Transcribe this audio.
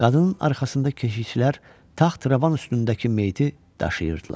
Qadının arxasında keşikçilər taxt-rəvan üstündəki meyti daşıyırdılar.